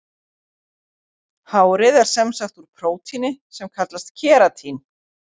Hárið er sem sagt úr prótíni sem kallast keratín.